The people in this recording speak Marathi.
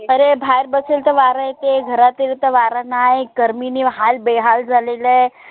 अरे बाहेर बसेल तर वार येते. घरात गेलं तर वार नाय गर्मीनी हाल बेहाल झालेलाय आहे.